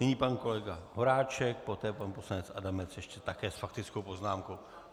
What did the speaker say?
Nyní pan kolega Horáček, poté pan poslanec Adamec ještě také s faktickou poznámkou.